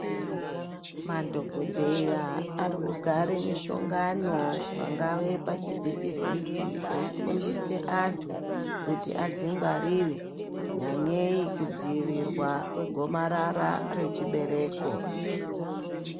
Madhokodheya arikugare mishongano pangave pachi vhitivhiti eifundise antu kuti adzingwarire nyanyei kudzivirirwa kwegomarara rechibereko.